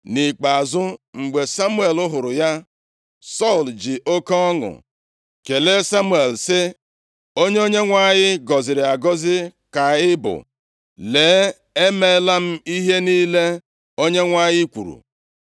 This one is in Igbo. Nʼikpeazụ, mgbe Samuel hụrụ ya, Sọl ji oke ọṅụ kelee Samuel sị, “Onye Onyenwe anyị gọziri agọzi ka ị bụ. Lee, emeela m ihe niile Onyenwe anyị kwuru!”